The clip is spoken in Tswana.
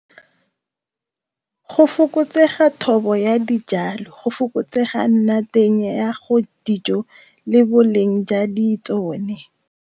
Go fokotsega thobo ya dijalo go fokotsega nna teng ya go dijo le boleng jwa di tsone.